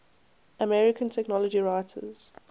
american technology writers